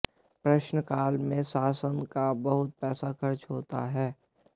प्रश्नकाल में शासन का बहुत पैसा खर्च होता है